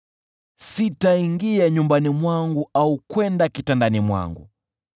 “Sitaingia nyumbani mwangu au kwenda kitandani mwangu: